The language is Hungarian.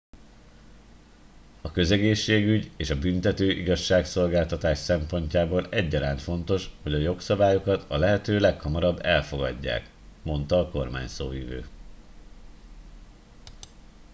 a közegészségügy és a büntető igazságszolgáltatás szempontjából egyaránt fontos hogy a jogszabályokat a lehető leghamarabb elfogadják - mondta a kormányszóvivő